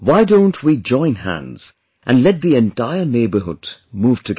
Why don't we join hands and let the entire neighbourhood move together